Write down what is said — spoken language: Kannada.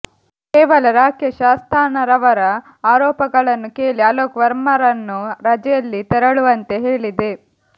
ಕೇವಲ ರಾಕೇಶ್ ಅಸ್ತಾನರವರ ಆರೋಪಗಳನ್ನು ಕೇಳಿ ಅಲೋಕ್ ವರ್ಮರನ್ನು ರಜೆಯಲ್ಲಿ ತೆರಳುವಂತೆ ಹೇಳಿದೆ